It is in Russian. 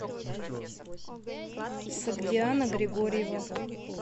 согдиана григорьева